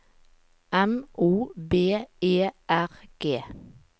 M O B E R G